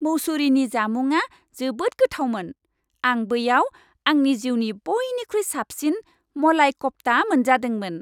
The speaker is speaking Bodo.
मुसौरीनि जामुंआ जोबोद गोथावमोन। आं बैयाव आंनि जिउनि बइनिख्रुइ साबसिन मलाई कफ्ता मोनजादोंमोन।